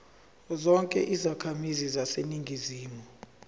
zonke izakhamizi zaseningizimu